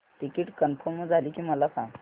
ticket confirm झाले की मला सांग